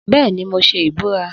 Bẹ́ẹ̀ni, mo ṣe ìbúra